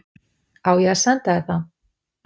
Á ég að senda þér það?